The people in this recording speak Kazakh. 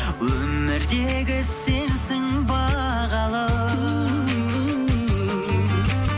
өмірдегі сенсің бағалым